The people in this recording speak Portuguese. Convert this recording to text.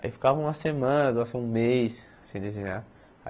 Aí ficava uma semana, um mês sem desenhar.